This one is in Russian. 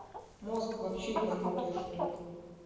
мозг вообще ебанутая штука